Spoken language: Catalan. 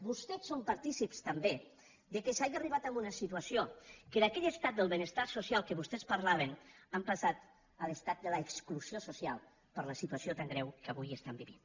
vostès són partícips també que s’hagi arribat a una situació que d’aquell estat del benestar social de què vostès parlaven hàgim passat a l’estat de l’exclusió social per la situació tan greu que avui vivim